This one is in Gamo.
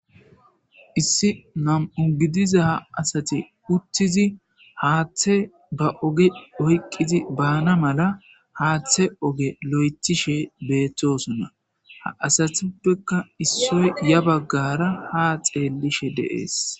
issi nam7u gidiza ha asati uttizi haaththe ba oge oyqqizi baana mala haaththe oge lo7ethishe beeththosunna ha asathuppekka issoy ya baggara ha xeellishe deees